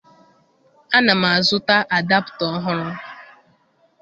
Ana m azụta adapta ọhụrụ.